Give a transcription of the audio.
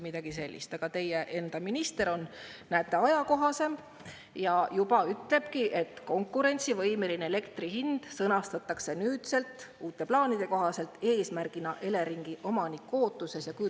Aga teie enda minister on, näete, ajakohasem ja juba ütlebki, et konkurentsivõimeline elektri hind sõnastatakse nüüd uute plaanide kohaselt Eleringi omaniku ootuses eesmärgina.